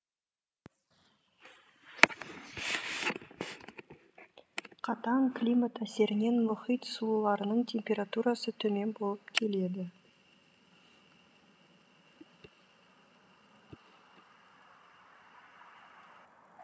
қатаң климат әсерінен мұхит суларының температурасы төмен болып келеді